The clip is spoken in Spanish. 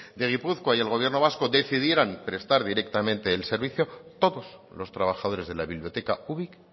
de gipuzkoa y el gobierno vasco decidieran prestar directamente el servicio todos los trabajadores de la biblioteca ubik